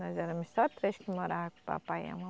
Nós éramos só três que morava com o papai e a